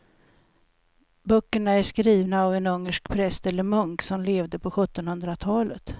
Böckerna är skrivna av en ungersk präst eller munk som levde på sjuttonhundratalet.